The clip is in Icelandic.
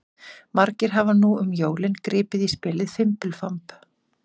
Margir hafa nú um jólin gripið í spilið Fimbulfamb.